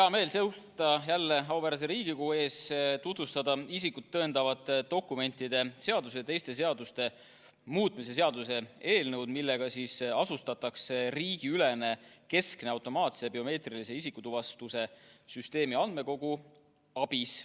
Hea meel on seista jälle auväärse Riigikogu ees, tutvustada isikut tõendavate dokumentide seaduse muutmise ja sellega seonduvalt teiste seaduste muutmise seaduse eelnõu, millega asutatakse riigiülene keskne automaatne biomeetrilise isikutuvastuse süsteemi andmekogu ABIS.